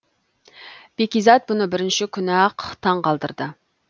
бәкизат бұны бірінші күні ақ таң қалдырды